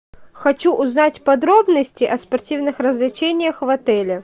хочу узнать подробности о спортивных развлечениях в отеле